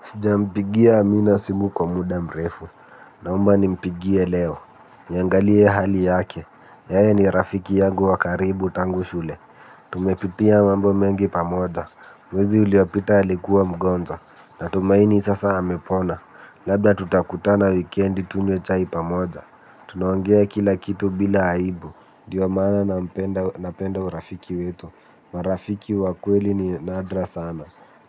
Sijampigia amina simu kwa muda mrefu, naomba nimpigie leo, niangalie hali yake, yeye ni rafiki yangu wa karibu tangu shule, tumepitia mambo mengi pamoja, mwezi uliopita alikua mgonjwa, natumaini sasa amepona, labda tutakutana wikendi tunywe chai pamoja, tunaongea kila kitu bila aibu, dio maana nampenda napenda urafiki wetu, marafiki wa kweli ni nadra sana,